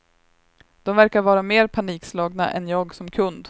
De verkar vara mer panikslagna än jag som kund.